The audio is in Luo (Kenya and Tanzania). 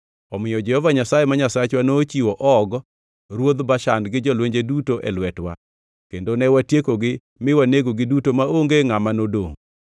Omiyo Jehova Nyasaye ma Nyasachwa nochiwo Og ruodh Bashan gi jolwenje duto e lwetwa, kendo ne watiekogi mi wanegogi duto maonge ngʼama nodongʼ.